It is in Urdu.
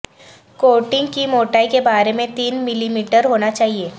کوٹنگ کی موٹائی کے بارے میں تین ملی میٹر ہونا چاہئے